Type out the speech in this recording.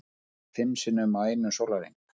Lést fimm sinnum á einum sólarhring